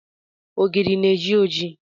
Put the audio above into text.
Ogiri na-eji oji